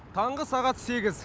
таңғы сағат сегіз